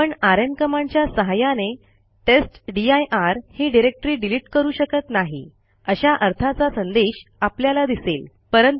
आपण आरएम कमांडच्या सहाय्याने टेस्टदीर ही डिरेक्टरी डिलिट करू शकत नाही अशा अर्थाचा संदेश आपल्याला दिसेल